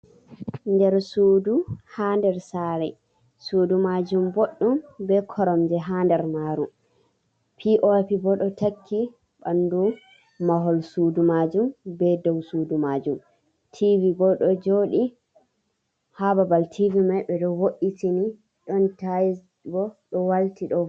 Nder sudu ha nder sare: Sudu majum boɗɗum be koromje ha nder maru pop bo ɗo takki ɓandu mahol sudu majum be ɗow sudu majum tivi bo ɗo jodi ha babal tivi mai ɓe ɗo vo’itini ɗon tayis bo ɗo walti ɗo.